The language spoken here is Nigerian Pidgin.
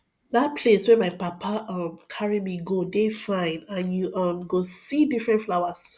dat place where my papa um carry me go dey fine and you um go see different flowers